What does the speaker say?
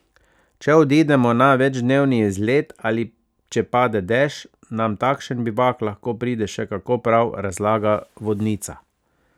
Če odidemo na večdnevni izlet ali če pade dež, nam takšen bivak lahko pride še kako prav, razlaga vodnica.